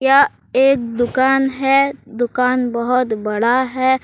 यह एक दुकान है दुकान बहुत बड़ा है।